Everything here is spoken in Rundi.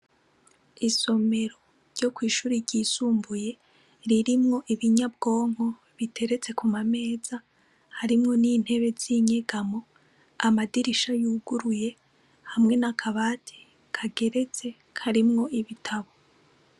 Isomero ryo kw'ishure ryisumbuye ririmwo ibinyabwonko biteretse ku mameza harimwo n'intebe z'inyegamo ,amadirisha yuguruye hamwe n'akabati kageretse karimwo ibitabo.